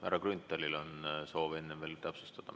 Härra Grünthalil on soov enne veel midagi täpsustada.